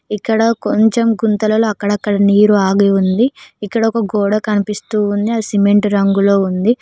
ఇక్కడ కొంచెం గుంతలలో అక్కడక్కడ నీరు ఆగి ఉంది ఇక్కడ ఒక గోడ కనిపిస్తూ ఉంది అది సిమెంట్ రంగులో ఉంది.